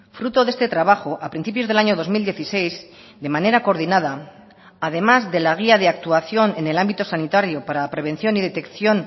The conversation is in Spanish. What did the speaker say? fruto de este trabajo a principios del año dos mil dieciséis de manera coordinada además de la guía de actuación en el ámbito sanitario para la prevención y detección